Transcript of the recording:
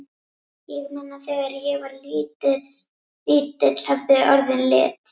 Ég man að þegar ég var lítill höfðu orðin lit.